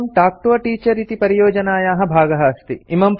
पाठोऽयं talk to a teacher इति परियोजनायाः भागः अस्ति